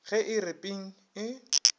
ge e re ping e